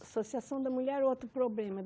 A associação da mulher é outro problema.